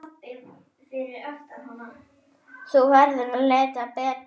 Þú verður að leita betur.